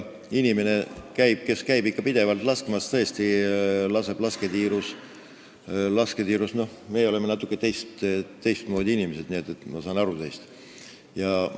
Inimesed, kes käivad pidevalt lasketiirus laskmas – me oleme natukene teistmoodi inimesed, nii et ma saan teist aru.